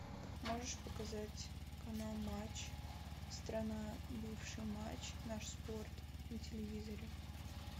можешь показать канал матч страна бывший матч наш спорт на телевизоре